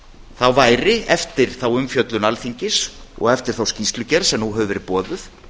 þá væri eftir þá umfjöllun alþingis og eftir þá skýrslugerð de nú hefur verið boðuð